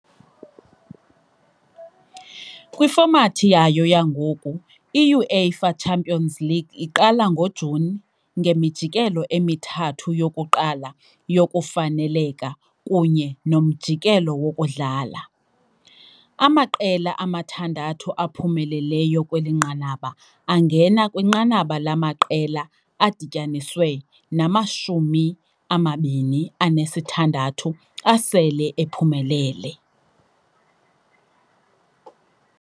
Kwifomathi yayo yangoku, i-UEFA Champions League iqala ngoJuni ngemijikelo emithathu yokuqala yokufaneleka kunye nomjikelo wokudlala . Amaqela amathandathu aphumeleleyo kweli nqanaba angena kwinqanaba lamaqela, adityaniswe namashumi amabini anesithandathu asele ephumelele.